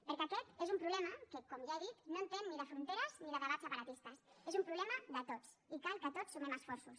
perquè aquest és un problema que com ja he dit no entén ni de fronteres ni de debats separatistes és un problema de tots i cal que tots sumem esforços